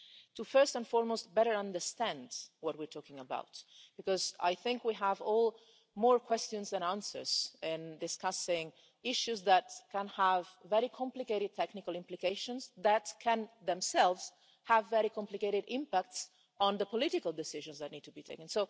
to first and foremost better understand what we're talking about, because I think we all have more questions than answers in discussing issues that can have very complicated technical implications, that can themselves have very complicated impacts on the political decisions that need to be taken.